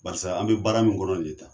Barisa an bi baara min kɔrɔ nin ye tan